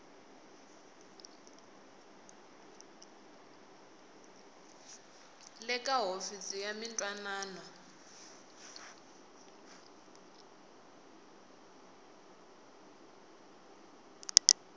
le ka hofisi ya mintwanano